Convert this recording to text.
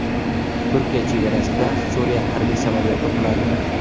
Turkiya chegarasida Suriya harbiy samolyoti quladi.